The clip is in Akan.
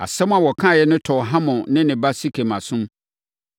Asɛm a wɔkaeɛ no tɔɔ Hamor ne ne ba Sekem asom.